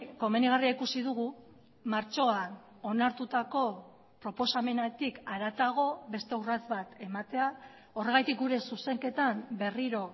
komenigarria ikusi dugu martxoan onartutako proposamenetik haratago beste urrats bat ematea horregatik gure zuzenketan berriro